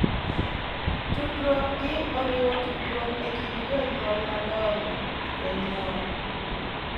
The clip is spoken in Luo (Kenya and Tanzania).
Tudruok gi oriwo tudruok e kind jonyuol madongo, jonyuol,